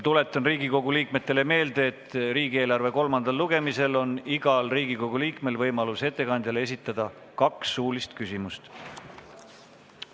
Tuletan Riigikogu liikmetele meelde, et riigieelarve kolmandal lugemisel on igal Riigikogu liikmel võimalus esitada ettekandjale kaks suulist küsimust.